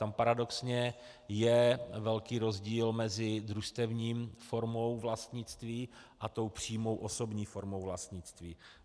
Tam paradoxně je velký rozdíl mezi družstevní formou vlastnictví a tou přímou osobní formou vlastnictví.